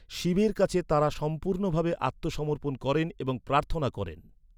শিবের কাছে তাঁরা সম্পূর্ণভাবে আত্মসমর্পণ করেন এবং প্রার্থনা করেন।